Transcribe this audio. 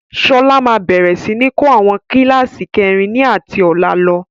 Sọlá máa bẹ̀rẹ̀ sini kọ́ àwọn kíláàsì kẹrin ni ati ọ̀la lọ.